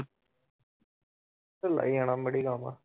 ਢਿੱਲਾ ਹੀ ਜਾਣਾ